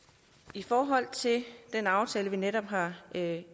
i forhold til den aftale vi netop har